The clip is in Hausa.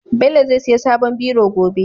Bello zai siya sabon biro gobe